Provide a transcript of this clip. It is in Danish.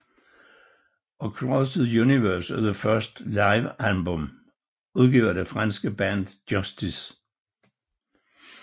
A Cross the Universe er det første livealbum udgivet af det franske band Justice